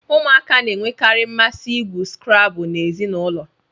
Ụmụaka na-enwekarị mmasị igwu Scrabble na ezinụlọ